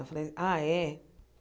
Eu falei, ah é?